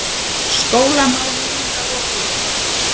SKÓLAMÁL UNGLINGA LOKIÐ